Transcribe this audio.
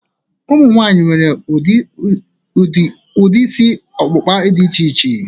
Ụmụ nwaanyị nwere udiri isi ọkpụkpa dị iche iche